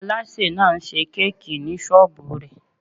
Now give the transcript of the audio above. Aláṣè náà n ṣe kéèkì ní sọ́ọ́bù rẹ̀